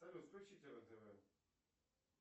салют включите рен тв